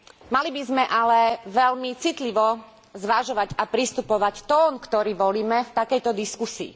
Mali by sme ale veľmi citlivo zvažovať a prispôsobiť tón, ktorý volíme v takejto diskusii.